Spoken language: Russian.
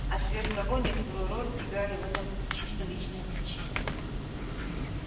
а сверх того некоторую роль играли в этом и чисто личные причины